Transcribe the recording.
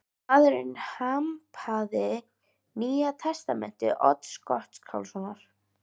Maðurinn hampaði Nýja testamenti Odds Gottskálkssonar.